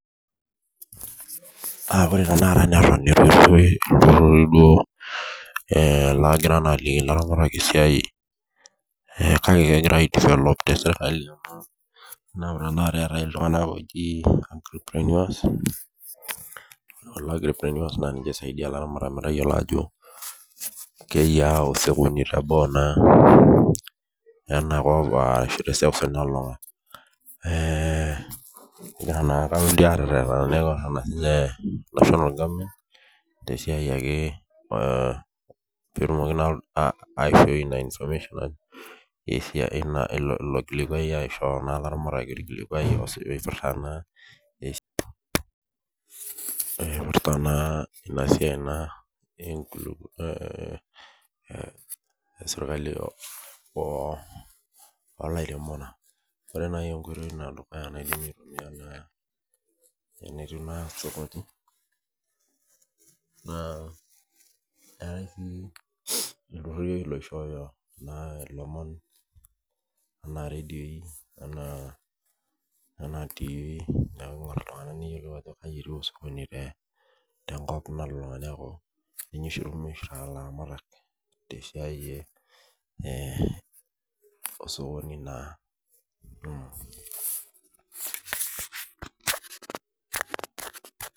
Aaah ore tenakata neitu eton laagira naa aliki ilaramatak esiai kake kegira aidivelop tesirkali naa ore tenakata eetai iltung'anak ooni enrapenuas naa ninche oisaidia ilaramatak metayiolo ajo keyiaa osokoni teboo naaa lenakop ashua teseuseu nalulung'a ore naa enaretenita ena laa national government tesiai ake peetumoki naa aishoi ielo kilikuai aishoo naa ilaramatak erikito orkilikuai oipirta naa ina siai esirkali oolairemok ore naaji enkoitoi edukuya naidimi aitumiya naa enetiu naa sokoni naa eetai sii iltururi loishooyo ilomon enaa redio enaa tivii neeku oltung'ani ayiolou ajo kaji etiu sokoni tenkop nalulung'a tesiai osokoni naa